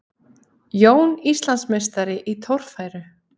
Jón Íslandsmeistari í torfæru